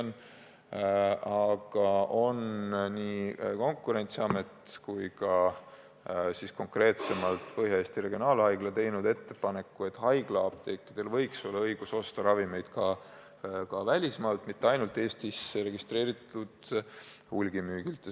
Nüüd on nii Konkurentsiamet kui ka konkreetselt Põhja-Eesti Regionaalhaigla teinud ettepaneku, et haiglaapteekidel võiks olla õigus osta ravimeid ka välismaalt, mitte ainult Eestis registreeritud hulgimüüjalt.